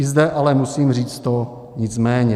I zde ale musím říct to "nicméně".